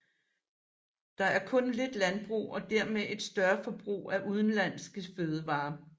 Der er kun lidt landbrug og dermed et større forbrug af udenlandske fødevarer